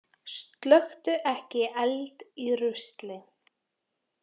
Slökktu ekki eld í rusli